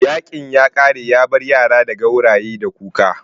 Yaƙin ya kare yabar yara da gauraye da kuka